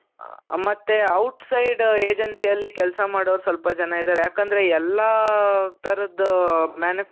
ಅ ಮತ್ತೆ outside agencyಯಲ್ಲಿ ಕೆಲಸ ಮಾಡೋರು ಸ್ವಲ್ಪ ಜನ ಇದ್ದಾರೆ ಯಾಕೆಂದ್ರೆ ಎಲ್ಲಾತರದ್ದು manu .